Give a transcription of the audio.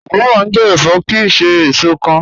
Kúkúmbà jẹ́ ẹ̀fọ́ kíì ṣè èṣò kán